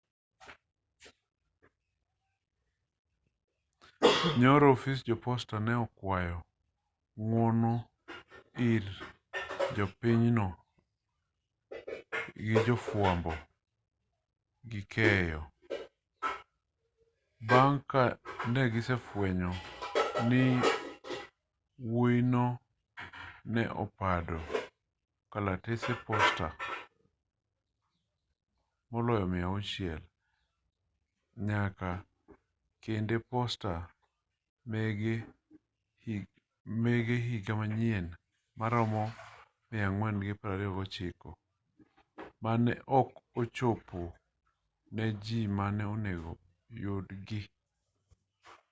nyoro ofis jo posta ne okwayo ng'wono ir jopinyno gi jo fwambo gi keyo bang' ka negise fwenyo ni wuoyino ne opando kalatese posta moloyo 600 nyaka kede posta mege higa manyien maromo 429 ma ne ok ochopo ne jii mane onego yudgi